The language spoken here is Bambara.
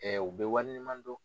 Ɛɛ u be waleɲuman dɔn